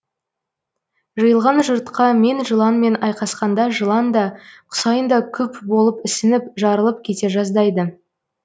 жиылған жұртқа мен жыланмен айқасқанда жылан да құсайын да күп болып ісініп жарылып кете жаздайды